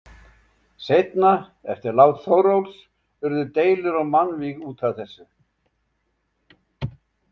Seinna, eftir lát Þórólfs, urðu deilur og mannvíg út af þessu.